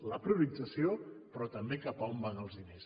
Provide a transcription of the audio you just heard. la priorització però també cap on van els diners